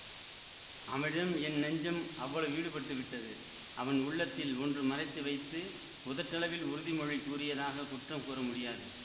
அவனிடம் என் நெஞ்சம் அவ்வளவு ஈடுபட்டுவிட்டது அவன் உள்ளத்தில் ஒன்று மறைத்துவைத்து உதட்டளவில் உறுதிமொழி கூறியதாக குற்றம் கூறமுடியாது